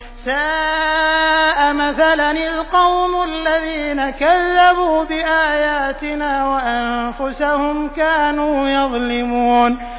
سَاءَ مَثَلًا الْقَوْمُ الَّذِينَ كَذَّبُوا بِآيَاتِنَا وَأَنفُسَهُمْ كَانُوا يَظْلِمُونَ